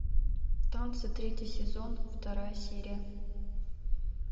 танцы третий сезон вторая серия